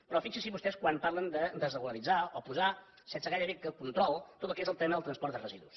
però fixin se vostès quan parlen de desregularitzar o posar sense gairebé control tot el que és el tema del transport de residus